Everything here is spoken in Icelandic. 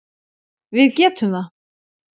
Við getum það.